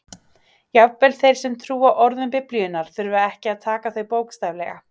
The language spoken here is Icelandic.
Jafnvel þeir sem trúa orðum Biblíunnar þurfa ekki að taka þau bókstaflega.